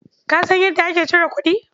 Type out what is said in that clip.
Ka san yadda ake cire kuɗi?